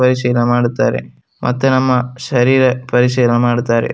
ವಯಸಿನ್ ಮಾಡುತ್ತಾರೆ ಮತ್ತೆ ನಮ್ಮ ಶರೀರ ವಯಸಿನ್ ಮಾಡುತ್ತಾರೆ.